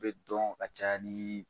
I bi dɔn ka caya ni